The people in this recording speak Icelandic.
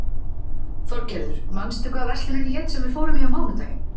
Þorgarður, manstu hvað verslunin hét sem við fórum í á mánudaginn?